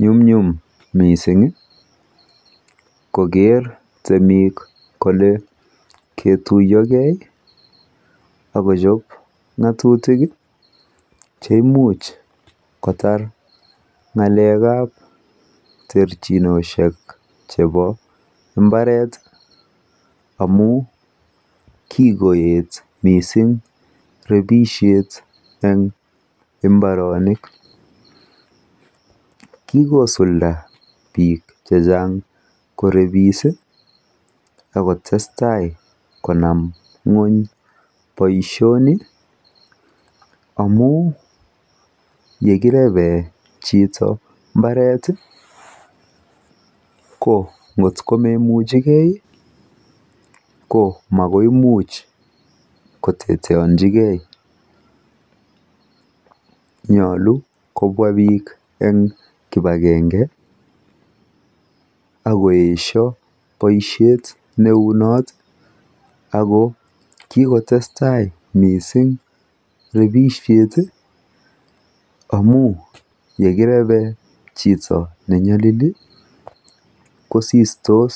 Nyumnyum mising koker temik kole kotuyokee akochop ngotutik cheimuch kotar ngalekap terchinoshek chepo mbareti amun kikoet mising repishet en mbaronik kikosulda biik chechang korepisi akotesta konam ngweny boishoni amun yekireben chito mbareti kongotko meimuchekee komakoimuch koteteonchi Kee yoche kobwa biik en kipakenge akoesho boishet neu not Ako kikotesta mising repisheti amun yekireben chito nenyolili kosistos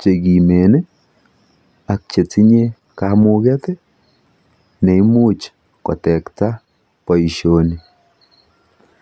chekimeni ak chetinye kamuket cheimuch kotekta boishoni